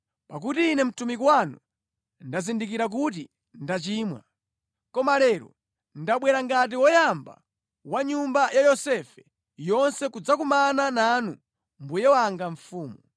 Pakuti ine mtumiki wanu ndazindikira kuti ndachimwa. Koma lero ndabwera ngati woyamba wa nyumba ya Yosefe yonse kudzakumana nanu mbuye wanga mfumu.”